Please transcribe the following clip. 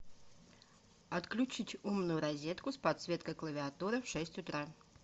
отключить умную розетку с подсветкой клавиатуры в шесть утра